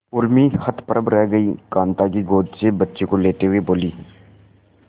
उर्मी हतप्रभ रह गई कांता की गोद से बच्चे को लेते हुए बोली